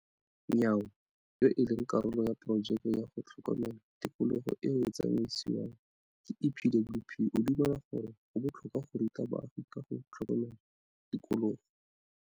Nyawo, yo e leng karolo ya porojeke ya go tlhokomela tikologo eo e tsamaisiwang ke EPWP, o dumela gore go botlhokwa go ruta baagi ka ga go tlhokomela tikologo.